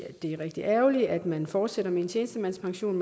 det er rigtig ærgerligt at man fortsætter med en tjenestemandspension